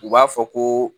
U b'a fɔ ko